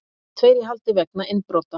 Tveir í haldi vegna innbrota